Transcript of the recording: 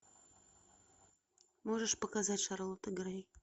можешь показать шарлотта грей